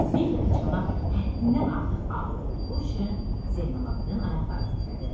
Bir dəfə çanaq həddindən artıq ağır olduğu üçün Zeynalabdın ayaqları titrədi.